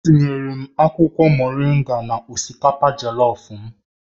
Etinyere m akwụkwọ moringa na osikapa Jellof m